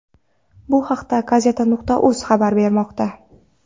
Bu haqda Gazeta.uz xabar bermoqda .